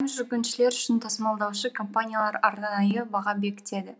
жүргіншілер үшін тасымалдаушы компаниялар арнайы баға бекітеді